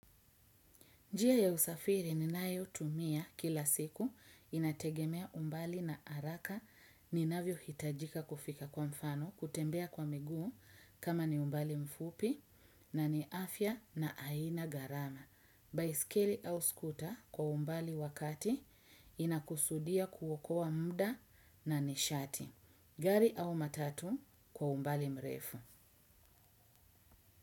Njia ya usafiri ninayo tumia kila siku inategemea umbali na haraka ninavyo hitajika kufika kwa mfano kutembea kwa miguu kama ni umbali mfupi na ni afya na aina gharama. Baiskeli au skuta kwa umbali wakati inakusudia kuokoa muda na nishati. Gari au matatu kwa umbali mrefu.